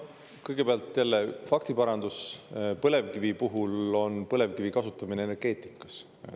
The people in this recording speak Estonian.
Kõigepealt jälle parandus: põlevkivi puhul me räägime põlevkivi kasutamisest energeetikas.